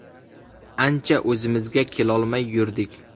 Ancha o‘zimizga kelolmay yurdik.